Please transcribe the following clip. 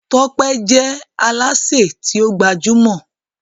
Tọ́pẹ́ je Alásè ti o gbajúmò.